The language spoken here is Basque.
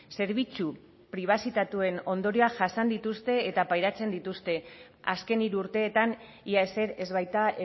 zerbitzu pribazitatuen ondorioak jasan dituzte eta pairatzen dituzte azken hiru urteetan ia ezer ez baita